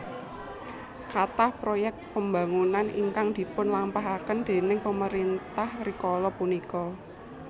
Kathah proyek pembangunan ingkang dipun lampahaken déning pemerintah rikala punika